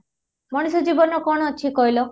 ମଣିଷ ଜୀବନ କ'ଣ ଅଛି କହିଲ?